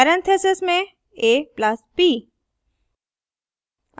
parentheses में a + b